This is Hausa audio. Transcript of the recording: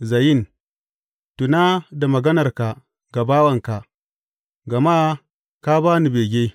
Zayin Tuna da maganarka ga bawanka, gama ka ba ni bege.